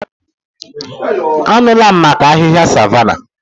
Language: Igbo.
Anụla m maka ahịhịa savanna.